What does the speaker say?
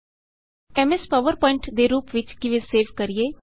aim S PowerPoint presentation ਨੂੰ ਕਿਸ ਤਰਹ ਸੇਵ ਕਰੀਏ